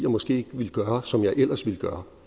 måske ikke ville gøre som jeg ellers ville gøre